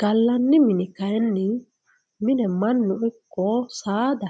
galani mini kayinni mine manu iko sadda